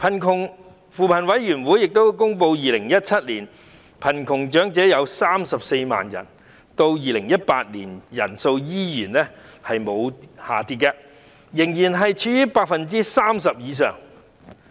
據扶貧委員會公布 ，2017 年貧窮長者有34萬人，長者貧窮率仍高達 30% 以上。